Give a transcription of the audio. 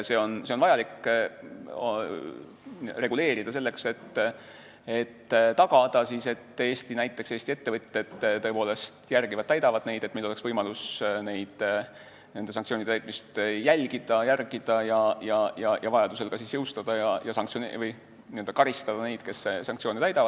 Seda on vajalik reguleerida selleks, et tagada see, et näiteks Eesti ettevõtjad tõepoolest täidavad neid nõudeid, et meil oleks võimalus sanktsioonide täitmist jälgida ja vajadusel ka karistada neid, kes sanktsioone ei täida.